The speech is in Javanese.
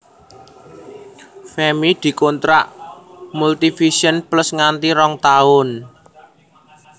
Femmy dikontrak Multivision Plus nganti rong taun